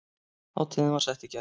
Hátíðin var sett í gær